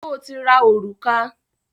Sọ ti ra òrùka?